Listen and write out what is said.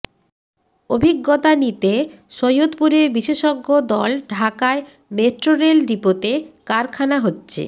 অভিজ্ঞতা নিতে সৈয়দপুরে বিশেষজ্ঞ দল ঢাকায় মেট্রোরেল ডিপোতে কারখানা হচ্ছে